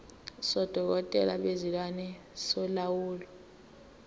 sodokotela bezilwane solawulo